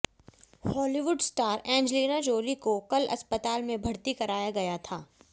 Hollywood star Angelina Jolie को कल अस्पताल में भर्ती कराया गया था